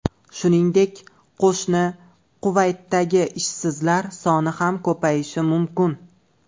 Shuningdek, qo‘shni Kuvaytdagi ishsizlar soni ham ko‘payishi mumkin.